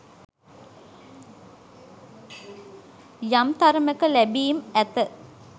යම් තරමක ලැබීම් ඇත